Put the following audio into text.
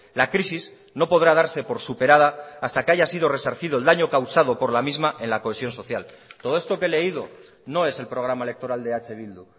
la crisis no podrá darse por superada hasta que haya sido resarcido el daño causado por la misma en la cohesión social todo esto que he leído no es el programa electoral de eh bildu